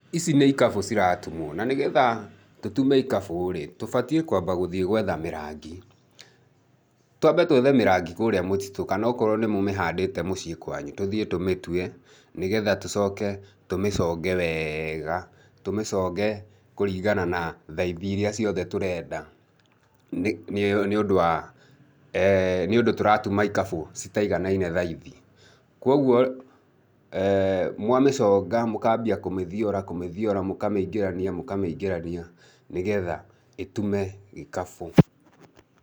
Ici nĩ ikabũ ciratumwo. Na nĩ getha tũtume ikabũ rĩ, tũbatiĩ kwamba gũthiĩ gwetha mĩrangi. Twambe twethe mĩrangi kũrĩa mũtitu kana okorwo nĩ mũmĩhandĩte mũciĩ kwanyu tũthiĩ tũmĩtue, nĩ getha tũcoke tũmĩconge wega, tũmĩconge kũringana na thaithi iria ciothe tũrenda nĩ ũndũ wa nĩ ũndũ tũratuma ikabũ citaiganaine thaithi. Kwoguo mwamĩconga mũkambia kũmĩthiora kũmĩthiora, mũkamĩingĩrania mũkamĩingĩrania nĩ getha ĩtume ikabũ.